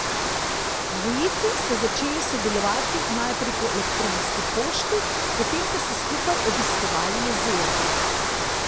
Dvojici sta začeli sodelovati najprej po elektronski pošti, potem so skupaj obiskovali jezero.